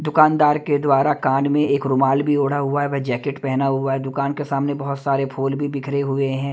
दुकानदार के द्वारा कान में एक रुमाल भी ओड़ा हुआ है व जैकेट पहना हुआ है दुकान के सामने बहुत सारे फूल भी बिखरे हुए हैं।